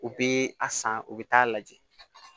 U bi a san u bi taa lajɛ